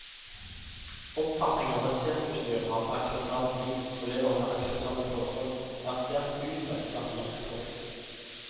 Oppfatningen om at sirkusdyr har et akseptabelt liv og lever under akseptable forhold er sterkt utbredt blant det norske folk.